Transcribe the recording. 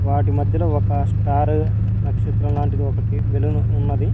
వాటి మధ్యలో ఒక స్టార్ నక్షత్రం లాంటిది ఒకటి బలూన్ ఉన్నది.